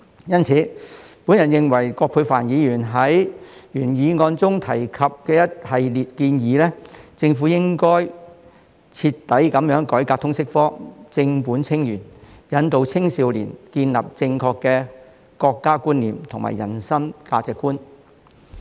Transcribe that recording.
因此，我認同葛珮帆議員在原議案中提及的一系列建議，政府應該徹底改革通識科，正本清源，引導青少年建立正確的國家觀念和人生價值觀。